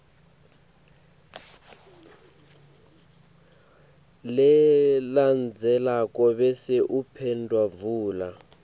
lelandzelako bese uphendvula